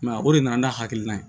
o de nana n'a hakilina ye